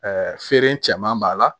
feere cɛman b'a la